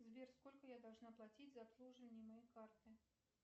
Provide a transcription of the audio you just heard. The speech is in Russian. сбер сколько я должна платить за обслуживание моей карты